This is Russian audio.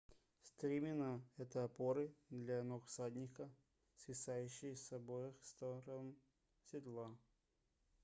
стремена это опоры для ног всадника свисающие с обоих сторон седла